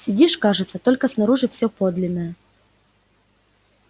сидишь кажется только снаружи все подлинное